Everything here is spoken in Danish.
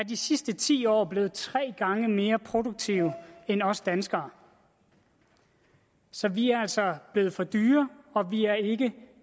de sidste ti år blevet tre gange mere produktive end os danskere så vi er altså blevet for dyre og vi er ikke